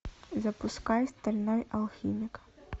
запускай стальной алхимик